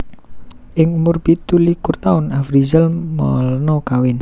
Ing umur pitu likur taun Afrizal Malna kawin